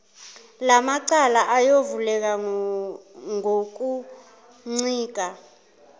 lamacala ayovuleka ngokuncika